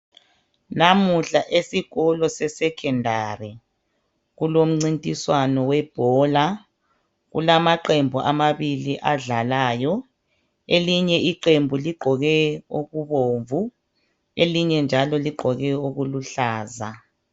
Namuhla esikolo seSekhondari kulomncintiswano webhola. Kulamaqembu amabili adlalayo. Elinye iqembu ligqoke okubomvu elinye njalo ligqoke okuluhlaza.